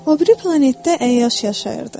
O biri planetdə əyyaş yaşayırdı.